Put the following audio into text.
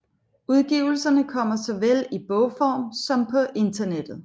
Udgivelserne kommer såvel i bogform som på internettet